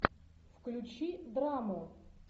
включи драму